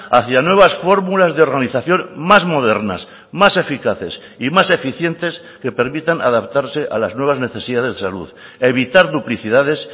hacia nuevas fórmulas de organización más modernas más eficaces y más eficientes que permitan adaptarse a las nuevas necesidades de salud evitar duplicidades